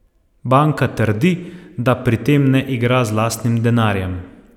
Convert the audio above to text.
Banka trdi, da pri tem ne igra z lastnim denarjem.